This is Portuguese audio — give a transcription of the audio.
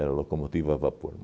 Era locomotiva a vapor.